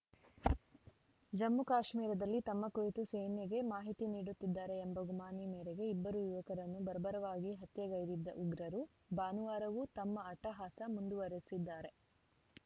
ಜಮ್ಮುಕಾಶ್ಮೀರದಲ್ಲಿ ತಮ್ಮ ಕುರಿತು ಸೇನೆಗೆ ಮಾಹಿತಿ ನೀಡುತ್ತಿದ್ದಾರೆ ಎಂಬ ಗುಮಾನಿ ಮೇರೆಗೆ ಇಬ್ಬರು ಯುವಕರನ್ನು ಬರ್ಬರವಾಗಿ ಹತ್ಯೆಗೈದಿದ್ದ ಉಗ್ರರು ಭಾನುವಾರವೂ ತಮ್ಮ ಅಟ್ಟಹಾಸ ಮುಂದುವರಿಸಿದ್ದಾರೆ